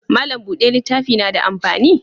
Mallam bude littafi na da amfani?